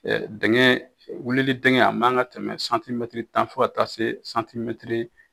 dɛngɛn wulili dɛngɛn a man kan ka tɛmɛ santimɛtiri tan fo ka taa se santimɛtiri